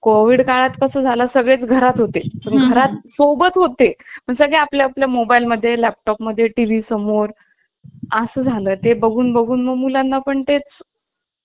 Covid काळात कसा झाला सगळेच घरात होते घरात सोबत होते पण सध्या आपल्या mobile मध्ये laptop मध्ये TV समोर असं झालं ते बघून बघून मुलांना पण तेच